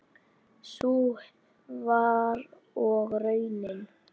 Sú var og raunin.